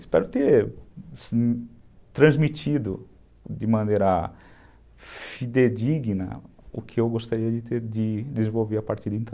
Espero ter transmitido de maneira fidedigna o que eu gostaria de desenvolver a partir de então.